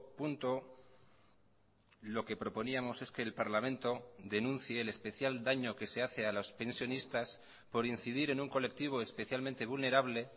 punto lo que proponíamos es que el parlamento denuncie el especial daño que se hace a los pensionistas por incidir en un colectivo especialmente vulnerable